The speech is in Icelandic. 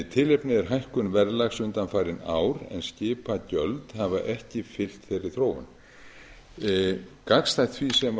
tilefnið er hækkun verðlags undanfarin ár en skipagjöld hafa ekki fylgt þeirri þróun gagnstætt því sem ég